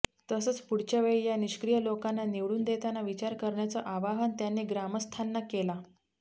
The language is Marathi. तसंच पुढच्या वेळी या निष्क्रिय लोकांना निवडून देताना विचार करण्याचं आवाहन त्यांनी ग्रामस्थांना केलं